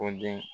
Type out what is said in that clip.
O den